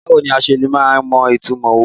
Báwo ni a se máa ń mọ ìtumọ̀ òwe?